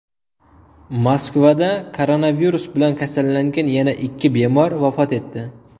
Moskvada koronavirus bilan kasallangan yana ikki bemor vafot etdi.